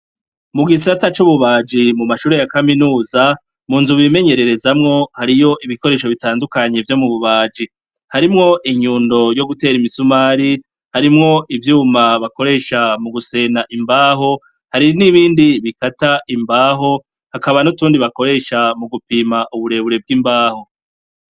Mu gisata c'ububaji mu mashure ya kaminuza, mu nzu bimenyererezamwo hariyo ibikoresho bitandukanye vyo mu bubaji. Harimwo inyundo yo gutera imisumari, harimwo ivyuma bakoresha mu gusena imbaho, hari n'ibindi bikata imbaho, hakaba n'utundi bakoresha mu gupima uburebure bw'imbaho.